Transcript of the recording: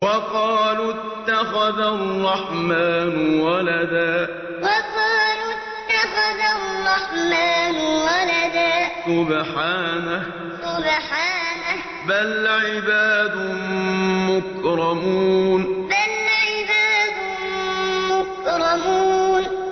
وَقَالُوا اتَّخَذَ الرَّحْمَٰنُ وَلَدًا ۗ سُبْحَانَهُ ۚ بَلْ عِبَادٌ مُّكْرَمُونَ وَقَالُوا اتَّخَذَ الرَّحْمَٰنُ وَلَدًا ۗ سُبْحَانَهُ ۚ بَلْ عِبَادٌ مُّكْرَمُونَ